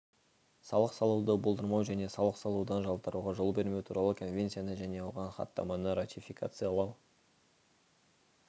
салық салуды болдырмау және салық салудан жалтаруға жол бермеу туралы конвенцияны және оған хаттаманы ратификациялау